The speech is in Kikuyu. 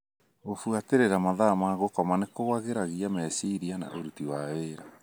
Gũfuatĩrĩra mathaa ma gũkoma nĩ kwagĩragia meciria na ũruti wa wĩra.